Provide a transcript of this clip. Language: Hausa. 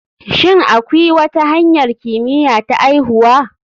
Shin akwi wata hanyar kimiya ta aihuwa?